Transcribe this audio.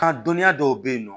Ka dɔnniya dɔw be yen nɔ